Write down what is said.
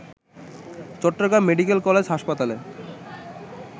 চট্টগ্রামে medical college হাসপাতালে